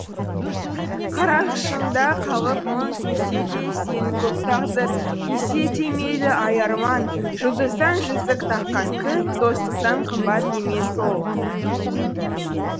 қарашығында қалғып мұң кезсе де сені көп тағдыр кезсе де мейлі ай арман жұлдыздан жүзік таққан кіл достықтан қымбат емес ол